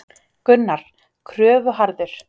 Gunnar: Kröfuharður?